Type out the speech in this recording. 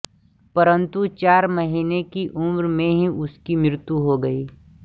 परन्तु चार महीने की उम्र में ही उसकी मृत्यु हो गयी